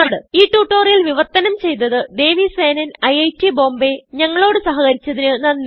ഈ ട്യൂട്ടോറിയൽ വിവർത്തനം ചെയ്തത് ദേവി സേനൻ ഐറ്റ് ബോംബേ ഞങ്ങളോട് സഹകരിച്ചതിന് നന്ദി